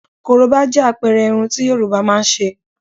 Korobá jẹ́ àpẹẹrẹ àrà irun tí Yorùbá máa ń ṣe.